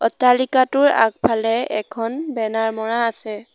অট্টালিকাটোৰ আগফালে এখন বেনাৰ মৰা আছে।